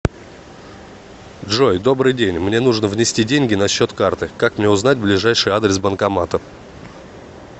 джой добрый день мне нужно внести деньги на счет карты как мне узнать ближайший адрес банкомата